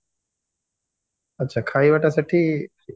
ଆଚ୍ଛା ଖାଇବାଟା ସେଠି free